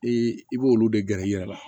I i b'olu de gɛrɛ i yɛrɛ la